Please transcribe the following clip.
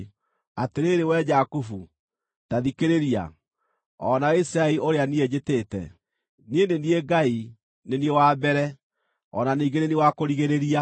“Atĩrĩrĩ, wee Jakubu, ta thikĩrĩria, o na wee Isiraeli ũrĩa niĩ njĩtĩĩte: Niĩ nĩ niĩ Ngai; nĩ niĩ wa mbere, o na ningĩ nĩ niĩ wa kũrigĩrĩria.